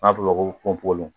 An b'o ma ko ponponpogolo